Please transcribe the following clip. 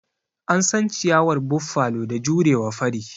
An san ciyawar Buffalo da jurewa fari.